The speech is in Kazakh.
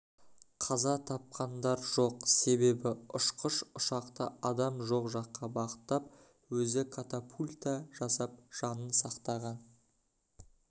қаза тапқандар жоқ себебі ұшқыш ұшақты адам жоқ жаққа бағыттап өзі катапульта жасап жанын сақтаған